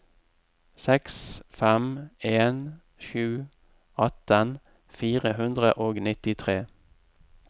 seks fem en sju atten fire hundre og nittitre